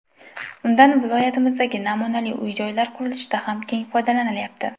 Undan viloyatimizdagi namunali uy-joylar qurilishida ham keng foydalanilyapti.